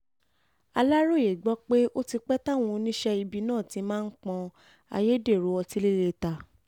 aláròye gbọ́ pé ó ti pẹ́ táwọn oníṣẹ́ ibi náà ti máa ń pọ́n ayédèrú ọtí líle ta